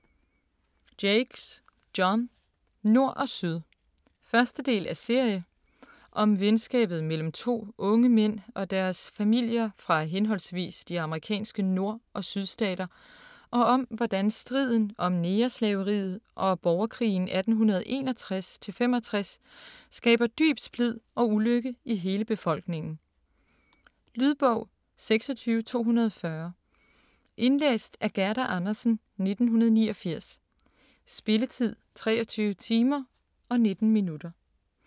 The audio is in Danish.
Jakes, John: Nord og Syd 1. del af serie. Om venskabet mellem to unge mænd og deres familier fra henholdsvis de amerikanske Nord- og Sydstater og om, hvordan striden om negerslaveriet og borgerkrigen 1861-65 skaber dyb splid og ulykke i hele befolkningen. Lydbog 26240 Indlæst af Gerda Andersen, 1989. Spilletid: 23 timer, 19 minutter.